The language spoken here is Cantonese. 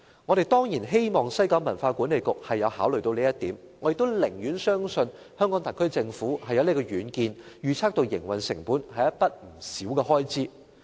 我們當然希望西九管理局有考慮這一點，我亦寧願相信香港特區政府有遠見，預測到營運成本是一筆不少的開支。